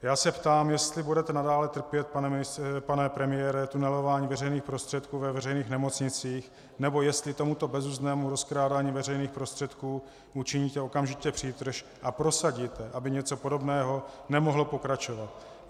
Já se ptám, jestli budete nadále trpět, pane premiére, tunelování veřejných prostředků ve veřejných nemocnicích, nebo jestli tomuto bezuzdnému rozkrádání veřejných prostředků učiníte okamžitě přítrž a prosadíte, aby něco podobného nemohlo pokračovat.